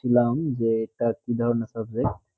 ছিলাম যে এইটা কি ধারণা আছে